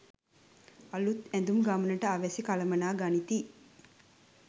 අලූත් ඇඳුම් ගමනට අවැසි කළමනා ගනිති